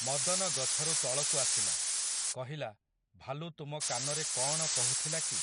ମଦନ ଗଛରୁ ତଳକୁ ଆସିଲା, କହିଲା, ଭାଲୁ ତୁମ କାନରେ କଅଣ କହୁଥିଲା କି ।